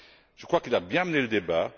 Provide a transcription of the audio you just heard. Je crois qu'il a bien mené le débat.